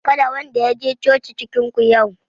Kada wanda ya je coci cikin ku yau